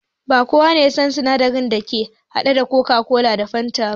Ba kowa yasan sinadarin da ake haɗa coca-cola da fanta ba